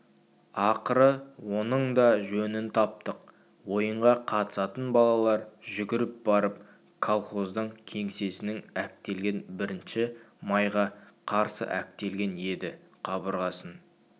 ақыры оның да жөнін таптық ойынға қатысатын балалар жүгіріп барып колхоздың кеңсесінің әктелген бірінші майға қарсы әктелген еді қабырғасын